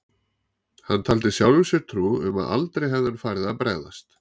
Hann taldi sjálfum sér trú um að aldrei hefði hann farið að bregðast